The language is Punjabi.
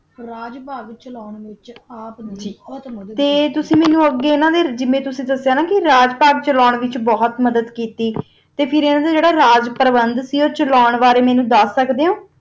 ਰਾਜ ਪਾਠ ਚਾਲਾਂ ਵਿਤਚ ਆਪ ਨਾ ਬੋਹਤ ਮਦਦ ਕੀਤੀ ਤੁਸੀਂ ਮੇਨੋ ਅਗ ਦਾਸਾ ਸੀ ਨਾ ਅਨਾ ਰਾਜਪਥ ਚਲ ਵਿਤਚ ਬੋਹਤ ਮਦਦ ਕੀਤੀ ਤਾ ਫਿਰ ਅਨਾ ਦਾ ਜਰਾ ਰਾਜ੍ਪਾਰ੍ਵੰਤ ਆ ਓਹੋ ਚਾਲਾਂ ਬਾਰਾ ਮੇਨੋ ਦੱਸ ਸਕ ਦਾ ਜਾ